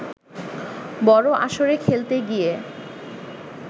বড় আসরে খেলতে গিয়ে